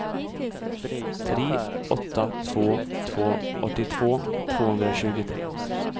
tre åtta två två åttiotvå tvåhundratjugotre